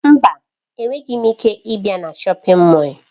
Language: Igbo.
Mba, enweghị m ike ịbịa na shọpin Mọll.